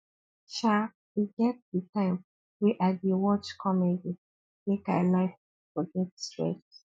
um e get di time wey i dey watch comedy make i laugh forget stress